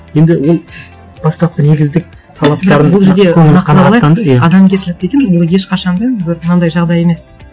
енді ол бастапқы негіздік талаптарын адамгершілік деген ол ешқашан да бір мынандай жағдай емес